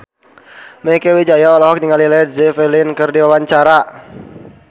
Mieke Wijaya olohok ningali Led Zeppelin keur diwawancara